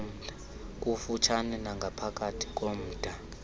kufutshane nangaphakathi komda